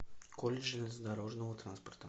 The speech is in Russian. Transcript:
колледж железнодорожного транспорта